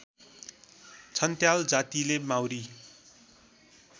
छन्त्याल जातिले माउरी